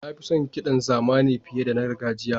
Na fi son kiɗan zamani fiye da na gargajiya.